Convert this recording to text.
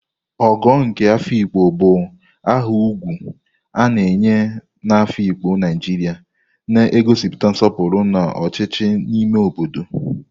Ogo nke Afikpo bụ aha ugwu a na-enye na Afikpo, Naijiria, na-egosi nsọpụrụ na ọchịchị n'ime obodo.